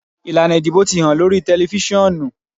Ilana idibo ti han lori tẹlifisiọnu.